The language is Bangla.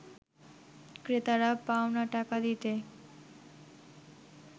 ক্রেতারা পাওনা টাকা দিতে